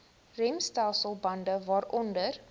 remstelsel bande waaronder